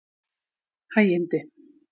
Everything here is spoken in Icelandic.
Hægindi